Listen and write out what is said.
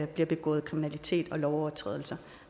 bliver begået kriminalitet og lovovertrædelser